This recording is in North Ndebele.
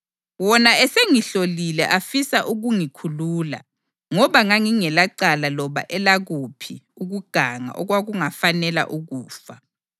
Wona esengihlolile afisa ukungikhulula ngoba ngangingelacala loba elakuphi ukuganga okwakungafanela ukufa.